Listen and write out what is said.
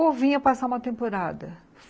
Ou vinha passar uma temporada.